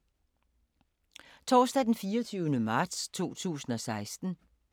Torsdag d. 24. marts 2016